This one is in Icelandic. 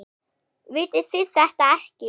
Vitið þið þetta ekki?